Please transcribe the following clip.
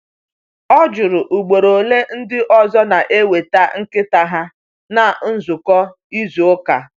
O jụrụ ugboro ole ndị ọzọ na-eweta nkịta ha na nzukọ izu ụka.